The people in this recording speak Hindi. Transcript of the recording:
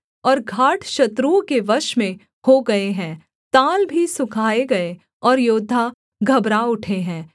और घाट शत्रुओं के वश में हो गए हैं ताल भी सुखाए गए और योद्धा घबरा उठे हैं